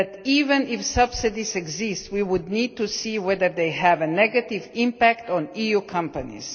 Even if subsidies exist, we would need to see whether they have a negative impact on EU companies.